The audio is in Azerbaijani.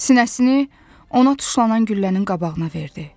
Sinəsini ona tuşlanan güllənin qabağına verdi.